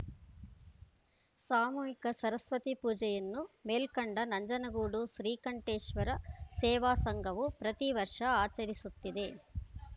ಸಾಮೂಹಿಕ ಸರಸ್ವತಿ ಪೂಜೆಯನ್ನು ಮೇಲ್ಕಂಡ ನಂಜನಗೂಡು ಶ್ರೀಕಂಠೇಶ್ವರ ಸೇವಾ ಸಂಘವು ಪ್ರತೀ ವರ್ಷ ಅಚರಿಸುತ್ತಿದೆ